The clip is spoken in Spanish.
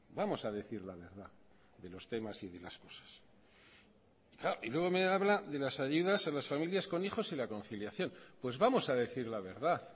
vamos a decir la verdad de los temas y de las cosas y luego me habla de las ayudas a las familias con hijos y la conciliación pues vamos a decir la verdad